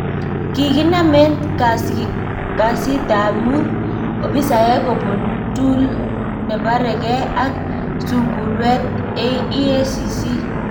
Kikinaam en kasiitab muut opisaek kobuun tool neparekee ak sunkulweet EACC.